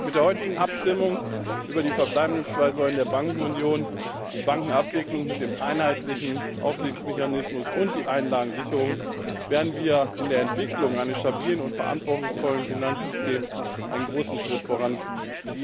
Mit der heutigen Abstimmung über die verbleibenden zwei Säulen der Bankenunion die Bankenabwicklung mit dem einheitlichen Aufsichtsmechanismus und die Einlagensicherung werden wir in der Entwicklung eines stabilen und verantwortungsvollen Finanzsystems einen großen Schritt vorankommen.